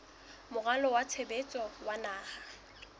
moralo wa tshebetso wa naha